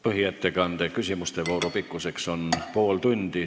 Põhiettekande küsimuste vooru pikkus on pool tundi.